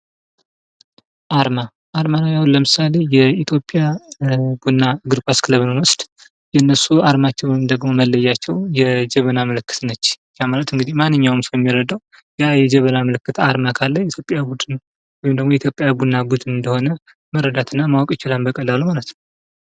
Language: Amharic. አርማ ። አርማ ለምሳሌ የኢትዮጵያ ቡና እግር ኳስ ክለብ ብንወስድ የእነሱ አርማቸው ወይም ደግሞ መለያቸው የጀበና ምልክት ነች ። ያ ማለት እንግዲህ ማነኛውም ሰው የሚረደው ያ የጀበና ምልክት አርማ ካለ የኢትዮጵያ ቡድን ነው ወይም ደግሞ የኢትዮጵያ ቡና ቡድን እንደሆነ መረዳት እና ማወቅ ይችላል በቀላሉ ማለት ነው ።